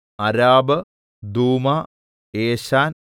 അരാബ് ദൂമ എശാൻ